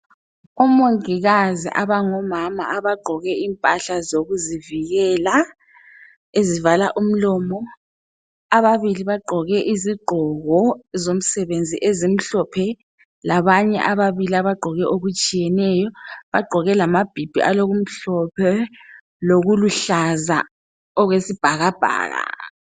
Omongikazi abangomama abagqoke impahla zokuzivikela ezivala umlomo, ababili bagqoke izigqoko zomsebenzi ezimhlophe labanye ababili abagqoke okutshiyeneyo bagqoke lamabhibhi alokumhlophe lokuluhlaza okwesibhakabhaka.